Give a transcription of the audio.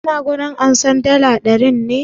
Suna wurin amsar dala ɗarin ne?